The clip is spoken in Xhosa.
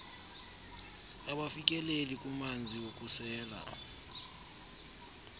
abafikeleli kumanzi wokusela